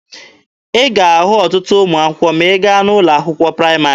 Ị ga-ahụ ọtụtụ ụmụaka ma ị gaa n'ụlọ akwụkwọ praịmarị.